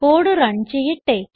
code run ചെയ്യട്ടെ